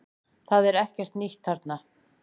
Það er ekkert nýtt þarna